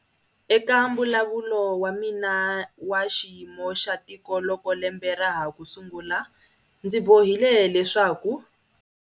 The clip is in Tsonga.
Eka Mbulavulo wa mina wa Xiyimo xa Tiko loko lembe ra ha ku sungula ndzi bohile leswaku.